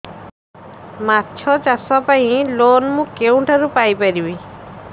ମାଛ ଚାଷ ପାଇଁ ଲୋନ୍ ମୁଁ କେଉଁଠାରୁ ପାଇପାରିବି